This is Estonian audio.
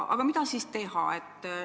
Aga mida siis teha?